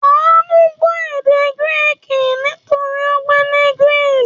Àánú gbọ́ èdè Gíríìkì nítorí ó ń gbé ní Greece.